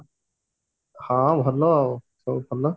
ହଁ ଭଲ ଆଉ ସବୁ ଭଲ